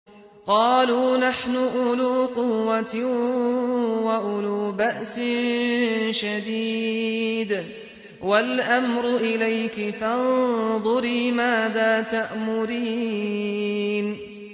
قَالُوا نَحْنُ أُولُو قُوَّةٍ وَأُولُو بَأْسٍ شَدِيدٍ وَالْأَمْرُ إِلَيْكِ فَانظُرِي مَاذَا تَأْمُرِينَ